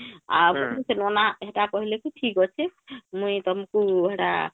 କି ସେ ନନା ହେଟା କହିଲେ କି ଠିକ ଅଛି ମୁଇଁ ତମକୁ ହେଟା